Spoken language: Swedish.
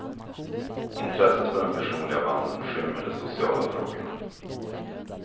Intresset för den personliga vandeln skymmer de sociala frågorna.